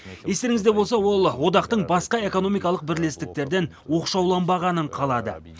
естеріңізде болса ол одақтың басқа экономикалық бірлестіктерден оқшауланбағанын қалады